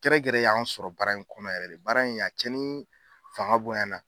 Gɛrɛgɛrɛ y'an sɔrɔ baara in kɔnɔ baara in a cɛ ni fanga bonya na